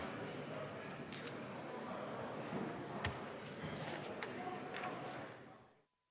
Istungi lõpp kell 10.32.